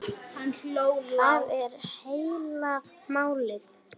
Það er heila málið!